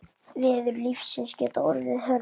Veður lífsins geta orðið hörð.